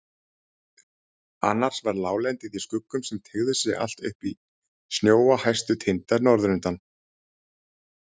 Annars var láglendið í skuggum sem teygðu sig allt upp í snjóa hæstu tinda norðurundan.